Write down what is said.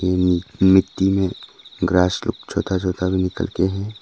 जो मिट्टी में ग्रास लोग छोटा छोटा भी निकल के है।